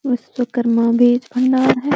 बिस्वकर्मा बिज भंडार है।